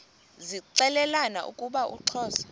zixelelana ukuba uxhosa